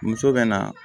Muso bɛ na